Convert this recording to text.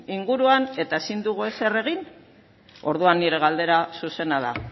inguruan eta ezin dugu ezer egin orduan nire galdera zuzena da